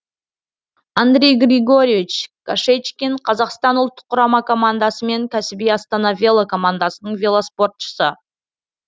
андрей григорьевич кашечкин қазақстан ұлттық құрама командасы мен кәсіби астана велокомандасының велоспортшысы